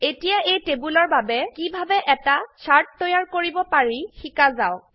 এতিয়া এই টেবোলৰ বাবে কিভাবে এটা চাৰ্ট তৈয়াৰ কৰিব পাৰি শিকা যাওক